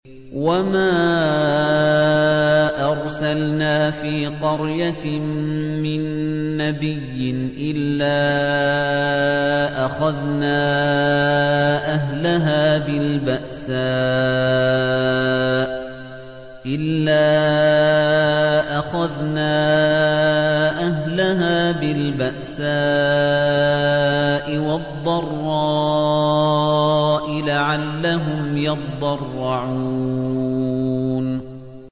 وَمَا أَرْسَلْنَا فِي قَرْيَةٍ مِّن نَّبِيٍّ إِلَّا أَخَذْنَا أَهْلَهَا بِالْبَأْسَاءِ وَالضَّرَّاءِ لَعَلَّهُمْ يَضَّرَّعُونَ